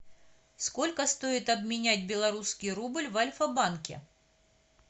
сколько стоит обменять белорусский рубль в альфа банке